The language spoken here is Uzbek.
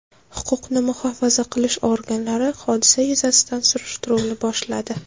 Huquqni muhofaza qilish organlari hodisa yuzasidan surishtiruvni boshladi.